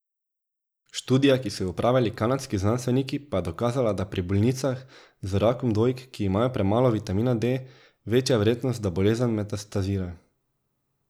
Študija, ki so jo opravili kanadski znanstveniki, pa je dokazala, da je pri bolnicah z rakom dojk, ki imajo premalo vitamina D, večja verjetnost, da bolezen metastazira.